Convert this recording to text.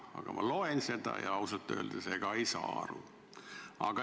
Aga ma loen seda ja ausalt öeldes ei saa aru.